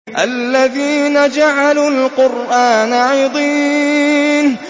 الَّذِينَ جَعَلُوا الْقُرْآنَ عِضِينَ